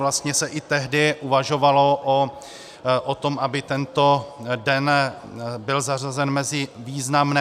Vlastně se i tehdy uvažovalo o tom, aby tento den byl zařazen mezi významné.